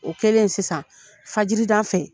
O kɛlen sisan fajiri da fɛ.